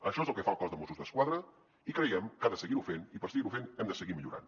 això és el que fa el cos de mossos d’esquadra i creiem que ha de seguir ho fent i per seguir ho fent hem de seguir millorant